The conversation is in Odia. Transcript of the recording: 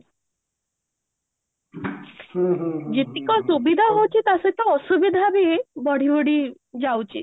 ଯେତକ ସୁବିଧା ହଉଚି ତା ସହିତ ଅସୁବିଧା ବି ବଢି ବଢି ଯାଉଚି